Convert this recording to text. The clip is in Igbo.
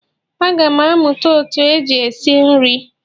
Aga m amụta otú eji esi nri